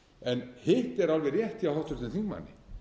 hitt er alveg rétt hjá háttvirtum þingmanni